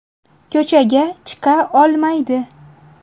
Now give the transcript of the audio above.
Ko‘chaga chiqa olmaydi.